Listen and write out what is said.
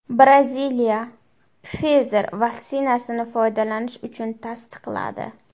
Braziliya Pfizer vaksinasini foydalanish uchun tasdiqladi.